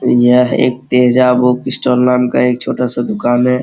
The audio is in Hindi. यह एक तेजा बुक स्टाल नाम का एक छोटा सा दुकान है।